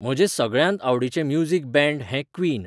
म्हजेंं सगळ्यांत आवडीचें music band हें क्वीन